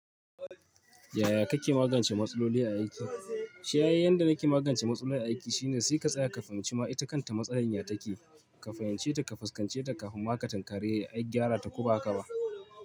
Yaya kake magance matsaloli a aiki? Shi ai yanda nake magance matsaloli a aiki shine sai ka tsaya ka fahimci ma ita kanta matsalar ya take. Ka fahimce ta, ka fuskance ta kafin maka takare ai gyara ta ko baka ba.